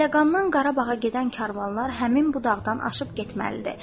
Bəhləqandan Qarabağa gedən karvanlar həmin bu dağdan aşıb getməlidir.